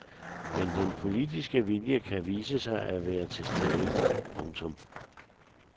Men den politiske vilje kan vise sig at være til stede. punktum